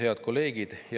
Head kolleegid!